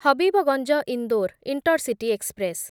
Habibganj Indore intercity express